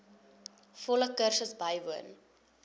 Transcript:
volle kursus bywoon